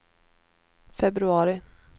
februari